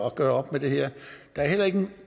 at gøre op med det her der er heller ikke